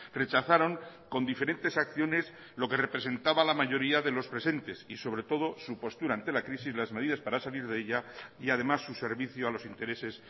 rechazaron con diferentes acciones lo que representaba la mayoría de los presentes y sobre todo su postura ante la crisis las medidas para salir de ella y además su servicio a los intereses